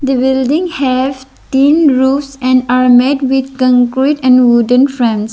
The building have tin roofs and are made with concrete and wooden frames.